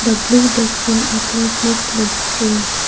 the blue dust bin are place next to the tree.